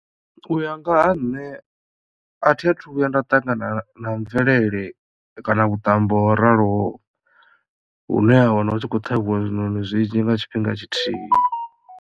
U ya nga ha nṋe a thi athu vhuya nda ṱangana na mvelele kana vhuṱambo ho raloho hu ne ha wana hu tshi khou ṱhavhiwa zwiṋoni zwinzhi nga tshifhinga tshithihi.